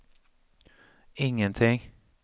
ingenting